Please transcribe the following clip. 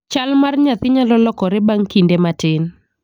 Chal mar nyathi nyalo lokore bang' kinde matin.